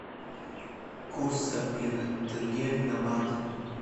курс обмена тенге на баты